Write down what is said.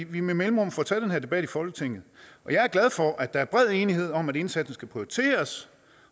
vi med mellemrum får taget den her debat i folketinget jeg er glad for at der er bred enighed om at indsatsen skal prioriteres